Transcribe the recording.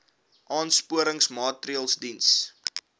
aansporingsmaatre ls diens